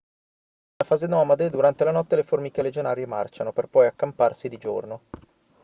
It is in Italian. nella fase nomade durante la notte le formiche legionarie marciano per poi accamparsi di giorno